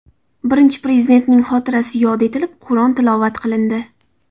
Birinchi Prezidentning xotirasi yod etilib, Qur’on tilovat qilindi.